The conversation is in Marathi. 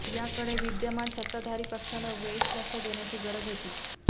याकडे विद्यमान सत्ताधारी पक्षानं वेळीच लक्ष देण्याची गरज होती